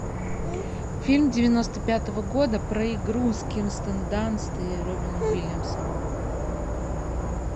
фильм девяносто пятого года про игру с кирстен данст и робином уильямсом